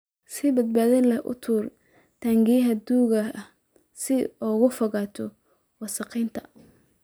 Si badbaado leh u tuur taangiyada duugga ah si aad uga fogaato wasakheynta.